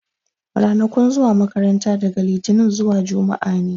Ranakun zuwa makaranta daga litinin zuwa juma'a ne.